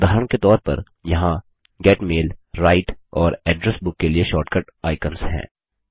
उदाहरण के तौर पर यहाँ गेट मैल राइट और एड्रेस बुक के लिए शॉर्टकट आइकन्स हैं